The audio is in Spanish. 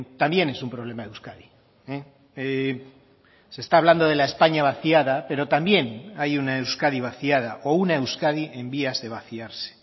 también es un problema de euskadi se está hablando de la españa vaciada pero también hay una euskadi vaciada o una euskadi en vías de vaciarse